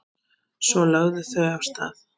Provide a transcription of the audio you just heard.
Svo lögðu þau af stað.